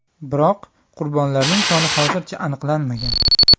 Biroq qurbonlarning soni hozircha aniqlanmagan.